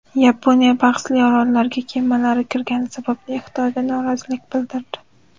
Yaponiya bahsli orollarga kemalari kirgani sababli Xitoyga norozilik bildirdi.